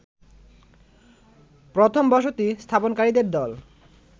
প্রথম বসতি স্থাপনকারীদের দল